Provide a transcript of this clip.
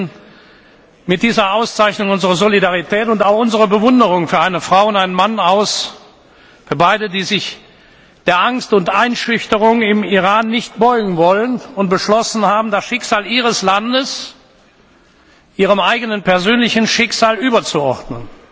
Wir sprechen mit dieser Auszeichnung unsere Solidarität und auch unsere Bewunderung für eine Frau und einen Mann aus, die sich beide der Angst und Einschüchterung im Iran nicht beugen wollen und beschlossen haben, das Schicksal ihres Landes ihrem eigenen persönlichen Schicksal überzuordnen.